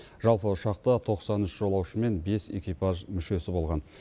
жалпы ұшақта тоқсан үш жолаушы мен бес экипаж мүшесі болған